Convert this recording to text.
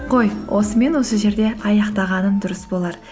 қой осымен осы жерде аяқтағаным дұрыс болар